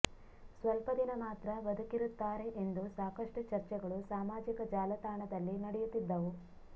ಸ್ವಲ್ಪ ದಿನ ಮಾತ್ರ ಬದುಕಿರುತ್ತಾರೆ ಎಂದು ಸಾಕಷ್ಟು ಚರ್ಚೆಗಳು ಸಾಮಾಜಿಕ ಜಾಲತಾಣದಲ್ಲಿ ನಡೆಯುತ್ತಿದ್ದವು